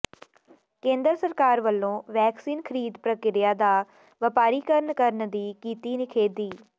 ਕੇਂਦਰ ਸਰਕਾਰ ਵੱਲੋਂ ਵੈਕਸੀਨ ਖਰੀਦ ਪ੍ਰਕਿਰਿਆ ਦਾ ਵਪਾਰੀਕਰਨ ਕਰਨ ਦੀ ਕੀਤੀ ਨਿਖੇਧੀ